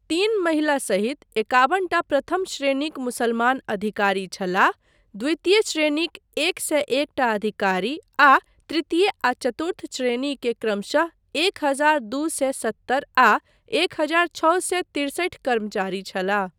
तीन महिला सहित एकाबन टा प्रथम श्रेणीक मुसलमान अधिकारी छलाह, द्वितीय श्रेणीक एक सए एक टा अधिकारी आ तृतीय आ चतुर्थ श्रेणी के क्रमशः एक हजार दू सए सत्तर आ एक हजार छओ सए तिरसठि कर्मचारी छलाह।